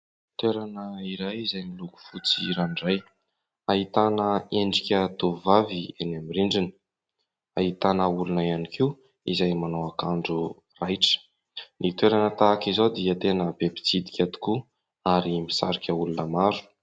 Toerana iray izay miloko fotsy ranoray. Ahitana endrika tovovavy eny aminy rindrina, ahitana olona ihany koa izay manao akanjo raitra. Ny toerana tahaka izao dia tena be pitsidika tokoa ary misarika olona maro.